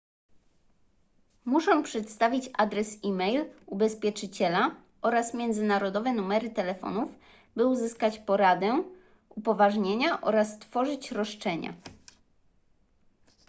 muszą przedstawić adres e-mail ubezpieczyciela oraz międzynarodowe numery telefonów by uzyskać poradę / upoważnienia oraz tworzyć roszczenia